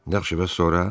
Yaxşı, bəs sonra?